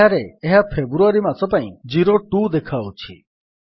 ଏଠାରେ ଏହା ଫେବୃଆରୀ ମାସ ପାଇଁ 02 ଦେଖାଉଛି